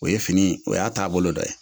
O ye fini o y'a taabolo dɔ ye